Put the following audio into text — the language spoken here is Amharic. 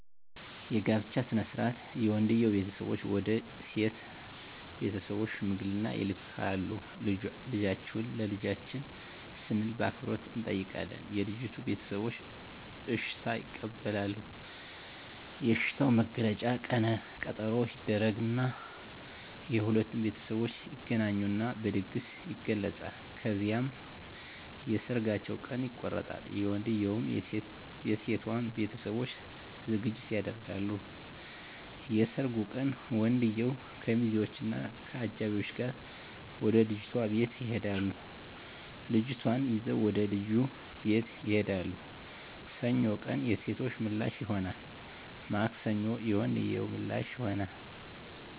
የጋብቻ ሥነ ሥርዓት የወንድየዉ ቤተሰቦች ወደ ሴት ቤተሰቦች ሽምግልና ይልካሉ ልጃችሁን ለልጃችን ስንል በአክብሮት እንጠይቃለን የልጂቱ ቤተሰቦች እሽታ ይቀበላሉ የእሽታዉ መግለጫ ቀነ ቀጠሮ ይደረግ እና የሁለቱም ቤተሠቦች ይገናኙና በድግስ ይገለፃል። ከዚያም የሠርጋቸዉ ቀን ይቆረጣል የወንድየዉም የሴቶም ቤተሠቦች ዝግጅት ያደርጋሉ። የሠርጉ ቀን ወንድየዉ ከሚዚወች እና ከአጃቢወቹ ጋር ወደ ልጅቷ ቤት ይሄዳሉ ልጅቷን ይዘዉ ወደ ልጁ ቤት ይሄዳሉ። ሰኞ ቀን የሴቶ ምላሽ ይሆናል ማክሰኞ የወንድየዉ ምላሽ ይሆናል።